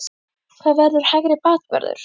HVER VERÐUR HÆGRI BAKVÖRÐUR?